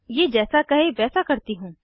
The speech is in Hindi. ये जैसा कहे वैसा करती हूँ